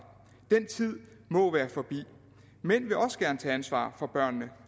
den tid må være forbi mænd vil også gerne tage ansvar for børnene